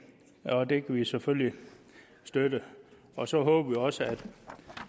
og det kan vi selvfølgelig støtte og så håber vi også